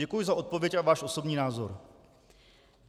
Děkuji za odpověď a váš osobní názor.